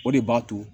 O de b'a to